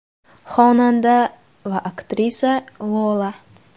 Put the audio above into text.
Xonanda va aktrisa Lola.